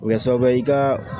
O bɛ kɛ sababu ye i ka